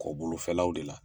Kɔ bolofɛlaw de la.